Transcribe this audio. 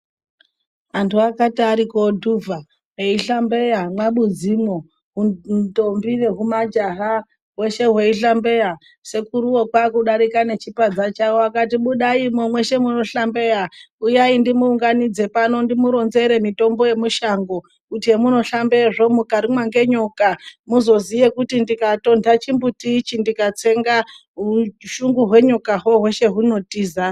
Anthu akati ari koodhuvha, eihlambeya, mwabudzimwo, ndombi nehumajaha hweshe hweihlambeya, sekuruwo kwaakudarika nechipadza chawo akati budaimwo, mweshe munohlambeya, uyai ndimuunganidze pano, ndimuronzere mitombo yemushango, kuti hemunohlambeyezvo mukarumwa ngenyoka, muzoziya kuti ndikatontha chimbuti ichi ndikatsenga, ushungu hwenyokahwo hweshe hunotiza.